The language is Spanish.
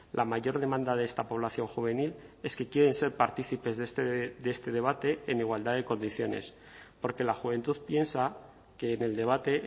la mayor demanda de esta población juvenil es que quieren ser partícipes de este debate en igualdad de condiciones porque la juventud piensa que en el debate